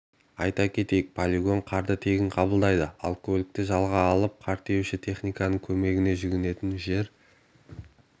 айта кетейік полигон қарды тегін қабылдайды ал көлікті жалға алып қар тиеуші техниканың көмегіне жүгінетін жер